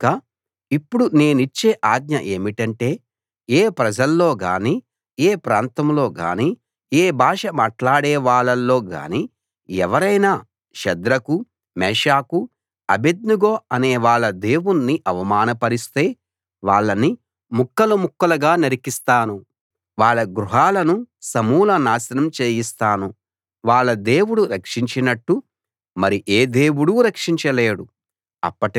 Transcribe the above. కనుక ఇప్పుడు నేనిచ్చే ఆజ్ఞ ఏమిటంటే ఏ ప్రజల్లో గానీ ఏ ప్రాంతంలో గానీ ఏ భాష మాట్లాడేవాళ్ళలో గానీ ఎవరైనా షద్రకు మేషాకు అబేద్నెగో అనేవాళ్ళ దేవుణ్ణి అవమానపరిస్తే వాళ్ళని ముక్కలు ముక్కలుగా నరికిస్తాను వాళ్ళ గృహాలను సమూల నాశనం చేయిస్తాను వాళ్ళ దేవుడు రక్షించినట్టు మరి ఏ దేవుడూ రక్షించలేడు